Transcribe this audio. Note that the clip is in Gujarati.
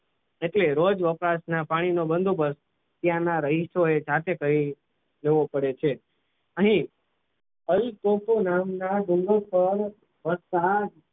એટલે રોજ વપરાશના પાણીનો બંદોબસ્ત તેના રહીશોએ જાતે કરીને કરવું પડે છે અહીં પોર્ટુગલ નામના જંગલે